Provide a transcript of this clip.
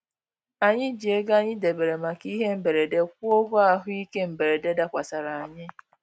Anyị ji ego anyị debere maka ihe mberede kwụọ ụgwọ ahụ ike mberede dakwasara anyị